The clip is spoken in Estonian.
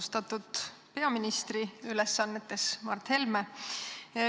Austatud peaministri ülesannetes Mart Helme!